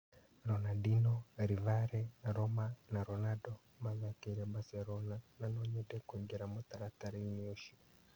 Ronandino, Rivare, Roma na Ronando mathakĩire Mbacerona na no-nyende kũingĩra mũtaratara ũcio.